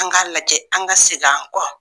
An k'a lajɛ an ka segin an kɔ